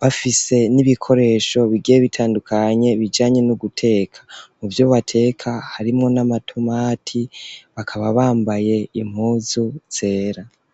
bafise n'ibikoresho bigiye bitandukanye bijanye no guteka muvyo bateka harimwo n'amatumati bakaba bambaye impuzu zera.